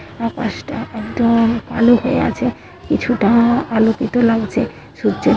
আকাশটা একদম কালো হয়ে গেছে | কিছুটা আলোকিত লাগছে | সূর্যে--